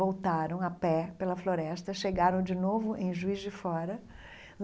Voltaram a pé pela floresta, chegaram de novo em Juiz de Fora.